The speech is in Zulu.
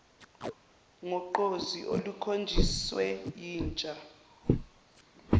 ngogqozi olukhonjiswe yintsha